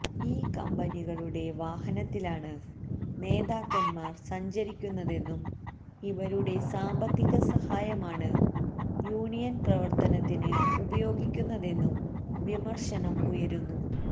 ഈ കമ്പനികളുടെ വാഹനത്തിലാണ് നേതാക്കന്മാര് സഞ്ചരിക്കുന്നതെന്നും ഇവരുടെ സാമ്പത്തിക സഹായമാണ് യൂണിയന് പ്രവര്ത്തനത്തിന് ഉപയോഗിക്കുന്നതെന്നും വിമര്ശനം ഉയരുന്നു